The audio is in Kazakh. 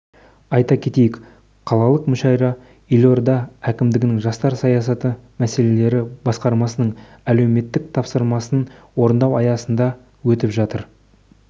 айта кетейік қалалық мүшәйра елорда әкімдігінің жастар саясаты мәселелері басқармасының әлеуметтік тапсырысын орындау аясында өтіп жатыр